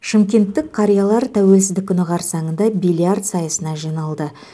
шымкенттік қариялар тәуелсіздік күні қарсаңында бильярд сайысына жиналды